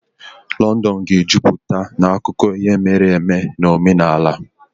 Londonu ga-ejupụta na akụkọ ihe mere eme na omenala.